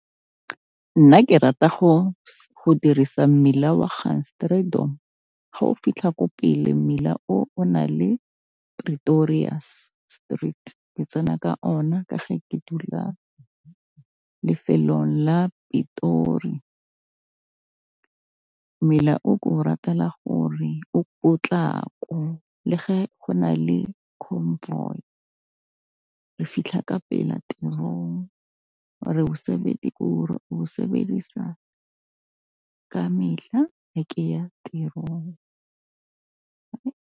Nna ke rata go go dirisa mmila wa ga o fitlha ko pele mmila o na le Pretorius Street, ke tsena ka ona ka ge ke dula lefelong la Pitori. Mmila o ke o ratela gore o potlako le ge go na le convoy, re fitlha ka pela tirong ke o sebedisa ka mehla ge ke ya tirong.